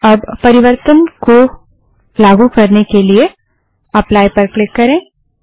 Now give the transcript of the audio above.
अब परिवर्तन को लागू करने के लिए एप्लाई पर क्लिक करें